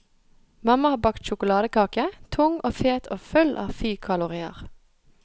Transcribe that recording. Mamma har bakt sjokoladekake, tung og fet og full av fykalorier.